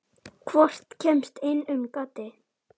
Hvorugt kemst inn um gatið.